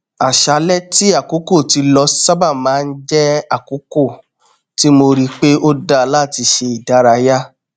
àṣálẹ tí àkókò ti lọ sábà má n jẹ àkókò tí mo rí pe ó dá láti ṣe ìdárayá